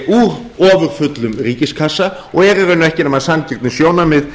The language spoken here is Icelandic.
úr ofurfullum ríkiskassa og er í raun ekki nema sanngirnissjónarmið